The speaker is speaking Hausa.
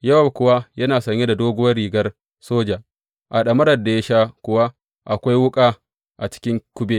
Yowab kuwa yana sanye da doguwar rigar soja, a ɗamarar da ya sha kuwa akwai wuƙa a cikin kube.